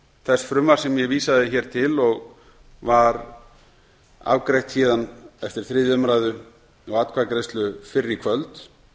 þess frumvarps sem ég vísaði hér til og var afgreitt héðan eftir þriðju umræðu og atkvæðagreiðslu fyrr í kvöld